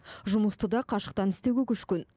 жұмысты да қашықтан істеуге көшкен